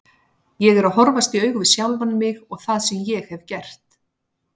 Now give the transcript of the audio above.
Ég er að horfast í augu við sjálfan mig og það sem ég hef gert.